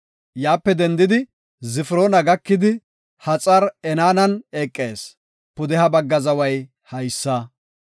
Yaape dendidi Zifiroona gakidi, Haxar-Enaanan eqees; pudeha bagga zaway haysa.